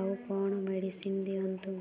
ଆଉ କଣ ମେଡ଼ିସିନ ଦିଅନ୍ତୁ